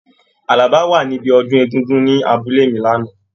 Àlàbá wa níbí ọdún Egungun ni abúlé mi l'ana.